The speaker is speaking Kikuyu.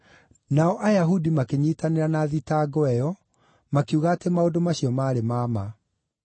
Nao Ayahudi makĩnyiitanĩra na thitango ĩyo, makiuga atĩ maũndũ macio maarĩ ma ma.